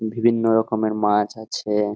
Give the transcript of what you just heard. বিভিন্ন রকমের মাছ আছে এএ